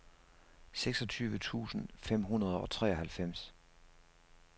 seksogtyve tusind fem hundrede og treoghalvfems